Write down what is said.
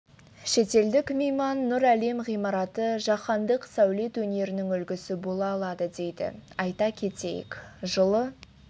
шетелдік мейман нұр әлем ғимараты жаһандық сәулет өнерінің үлгісі бола алады дейді айта кетейік жылы